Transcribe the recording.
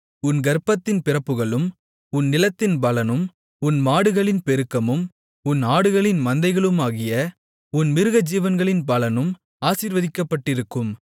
உன் கர்ப்பத்தின் பிறப்புகளும் உன் நிலத்தின் பலனும் உன் மாடுகளின் பெருக்கமும் உன் ஆடுகளின் மந்தைகளுமாகிய உன் மிருகஜீவன்களின் பலனும் ஆசீர்வதிக்கப்பட்டிருக்கும்